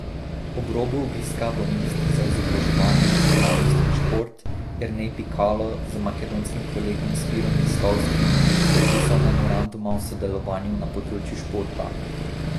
Ob robu obiska bo minister za izobraževanje, znanost in šport Jernej Pikalo z makedonskim kolegom Spirom Ristovskim podpisal memoranduma o sodelovanju na področju športa.